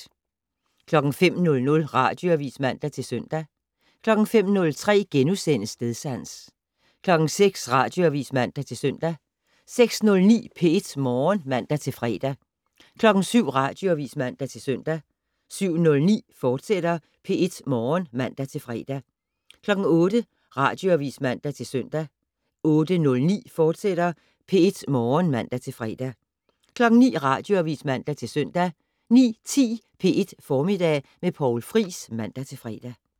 05:00: Radioavis (man-søn) 05:03: Stedsans * 06:00: Radioavis (man-søn) 06:09: P1 Morgen (man-fre) 07:00: Radioavis (man-søn) 07:09: P1 Morgen, fortsat (man-fre) 08:00: Radioavis (man-søn) 08:09: P1 Morgen, fortsat (man-fre) 09:00: Radioavis (man-søn) 09:10: P1 Formiddag med Poul Friis (man-fre)